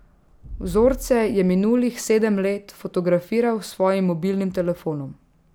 Vzorce je minulih sedem let fotografiral s svojim mobilnim telefonom.